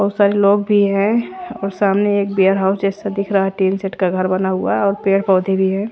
बोहोत सारे लोग भी हैं और सामने एक वेयर हाउस जैसा दिख रहा टीन शेड का घर बना हुआ और पेड़ पौधे भी है।